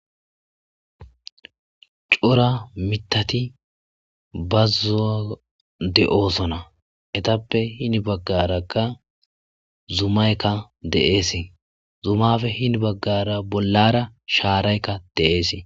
cora mitati bazzuwon de7oosona hetappe hini baggarakka zumaykka deesi zumafe hini baggara bollara shaaraykka dees